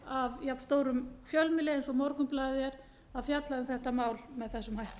af jafnstórum fjölmiðli og morgunblaðið er að fjalla um þetta mál með þessum hætti